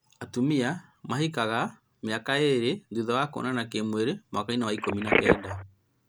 Atumia mahikaga mĩaka ĩrĩ thutha wa kuonana kĩmwĩrĩ mwaka-inĩ wa ikũmi na kenda